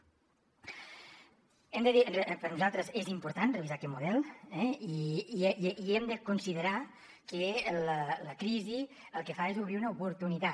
hem de dir que per nosaltres és important revisar aquest model eh i hem de considerar que la crisi el que fa és obrir una oportunitat